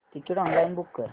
ticket online book कर